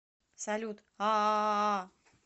салют аааа